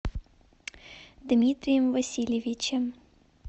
дмитрием васильевичем